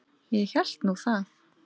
Ég hélt nú það.